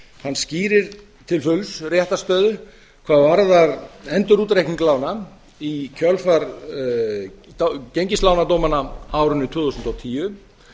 hann skýrir til fulls réttarstöðu hvað varðar endurútreikning lána í kjölfar gengislánadómanna á árinu tvö þúsund og tíu